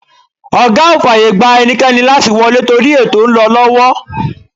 Ọ̀gá ò fàyè gba ẹnikẹ́ni láti wọlé torí ètò ń lọ lọ́wọ́.